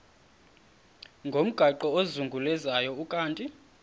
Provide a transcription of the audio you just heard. ngomgaqo ozungulezayo ukanti